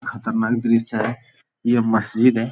खतरनाक दृश्य है यह मस्जिद है ।